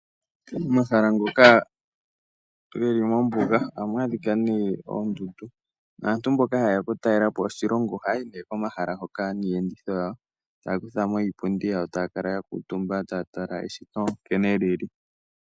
Momahala ngoka ge li mombuga ohamu adhika nee oondundu, naantu mboka haye ya okutalela po oshilongo ohaya hi nee komahala hoka niipundi yawo. Taya kutha mo iipundi yawo taya kala ya kuutumba taya tala eshito nkene li li.